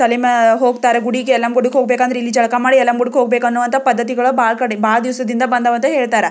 ಹೋಗ್ತಾರೆ ಗುಡಿಗೆ ಎಲ್ಲಮ್ ಗುಡ್ಡಕೆ ಹೋಗ್ಬೇಕು ಅಂದ್ರೆ ಇಲ್ಲಿ ಜಳಕ ಮಾಡಿ ಎಲ್ಲಮ್ ಗುಡ್ಡಕೆ ಹೋಗಬೇಕೆ ಅನೋ ಅಂತ ಪದ್ದತಿ ಬಹಳ ಕಡೆ ಬಹಲ್ ದಿವಸದಿಂದ ಬಂದಿವ ಅಂತ ಹೇಳ್ತಾರೆ.